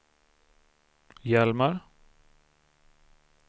Hjalmar